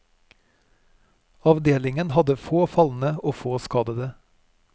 Avdelingen hadde få falne og få skadede.